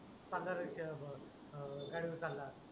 पांडरा रंग ब अं गडीवर टाका